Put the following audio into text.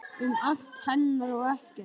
Um allt hennar og ekkert.